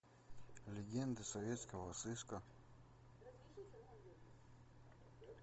легенды советского сыска